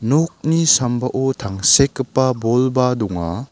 nokni sambao tangsekgipa bolba donga.